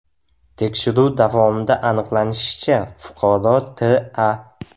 Tekshiruv davomida aniqlanishicha, fuqaro T.A.